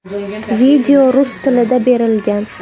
Video rus tilida berilgan.